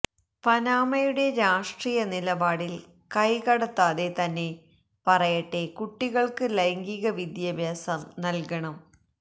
പനാമയുടെ രാഷ്ട്രീയ നിലപാടിൽ കൈകടത്താതെ തന്നെ പറയട്ടെ കുട്ടികൾക്ക് ലൈംഗീക വിദ്യാഭ്യാസം നൽകണം